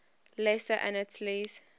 lesser antilles